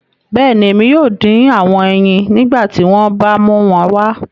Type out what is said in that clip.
Bẹẹni, Emi yoo din awọn ẹyin nigbati wọn ba mu wọn wá